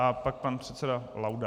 A pak pan předseda Laudát.